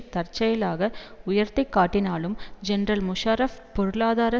தற்செயலாக உயர்த்தி காட்டினாலும் ஜெனரால் முஷாரப் பொருளாதார